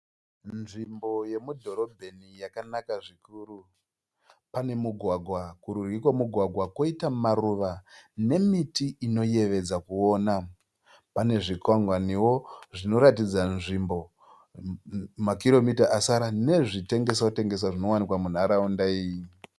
Nzvimbo yemudhorobheni yakanaka zvikuru. Pane mugwagwa. Kurudyi kwemugwagwa , kwoita maruva nemiti inoyevedza kuona. Pane zvikwangwaniwo zvinoratidza nzvimbo makiromita asara nezvitengeswa tengeswa zvinowanikwa munharaunda iyi.